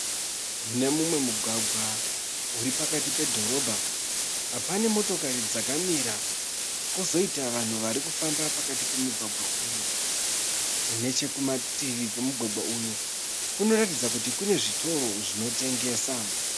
Mune mumwe mugwagwa uri pakati pedhorobha. Pane motokari dzakamira kwozoita vanhu vari kufamba pakati pemugwagwa uyu. Nechekumativi kwemugwagwa uyu kunoratidza kuti kune zvitoro zvinotengesa.